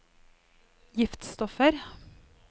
giftstoffer